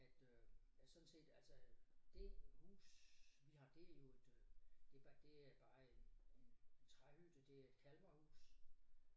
At øh at sådan set altså det hus vi har det jo et øh det det er bare en en træhytte det er et Kalmarhus